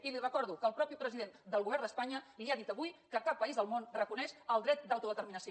i li recordo que el mateix president del govern d’espanya li ha dit avui que cap país del món reconeix el dret d’autodeterminació